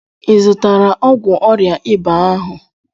ịzutara ogwụ ọria ịba ahu?